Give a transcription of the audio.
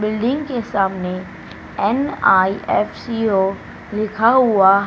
building के सामने NIFCO लिखा हुआ--